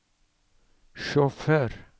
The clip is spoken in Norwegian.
sjåfør